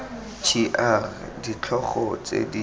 g r ditlhogo tse di